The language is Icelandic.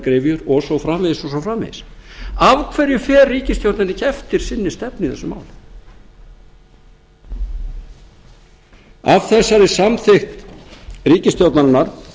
gryfjur og svo framvegis af hverju fer ríkisstjórnin ekki eftir sinni stefnu í þessu máli af þessari samþykkt ríkisstjórnarinnar